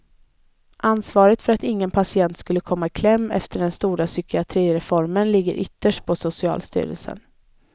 Ansvaret för att ingen patient skulle komma i kläm efter den stora psykiatrireformen ligger ytterst på socialstyrelsen.